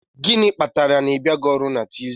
Gịnị kpatara na ị bịaghị ọrụ na Tuesday?